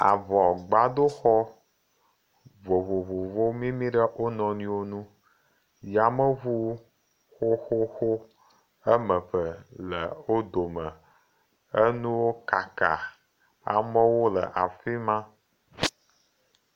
Avɔgbado xɔ vovovowo mi ɖe wo nɔnɔe ŋu yameŋu xoxo woa me eve ele wo dome. Enuwo kaka. Ame wo le afi ma.